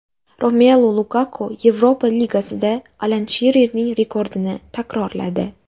Romelu Lukaku Yevropa Ligasida Alan Shirerning rekordini takrorladi.